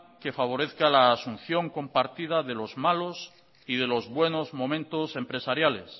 que favorezca la asunción compartida de los malos y de los buenos momentos empresariales